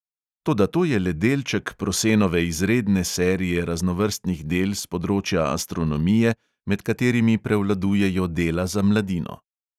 Toda to je le delček prosenove izredne serije raznovrstnih del s področja astronomije, med katerimi prevladujejo dela za mladino.